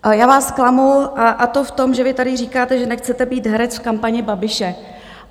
Já vás zklamu, a to v tom, že vy tady říkáte, že nechcete být herec v kampani Babiše.